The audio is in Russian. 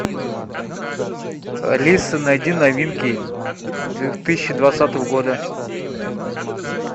алиса найди новинки две тысячи двадцатого года